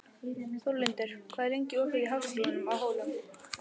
Þórlindur, hvað er lengi opið í Háskólanum á Hólum?